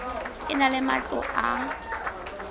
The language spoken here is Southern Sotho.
e na le matlo a